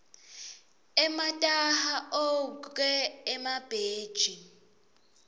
emataha ogwke emabhetji